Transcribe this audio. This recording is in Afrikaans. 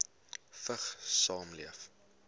vigs saamleef